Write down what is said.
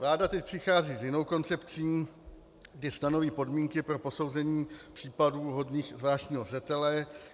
Vláda teď přichází s jinou koncepcí, kdy stanoví podmínky pro posouzení případů hodných zvláštního zřetele.